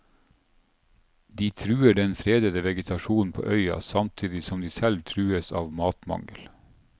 De truer den fredede vegetasjonen på øya samtidig som de selv trues av matmangel.